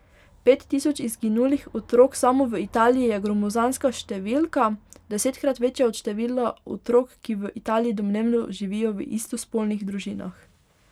Pet tisoč izginulih otrok samo v Italiji je gromozanska številka, desetkrat večja od števila otrok, ki v Italiji domnevno živijo v istospolnih družinah.